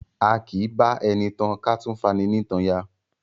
A kì í bá ẹni tan ká tún fani nítan ya.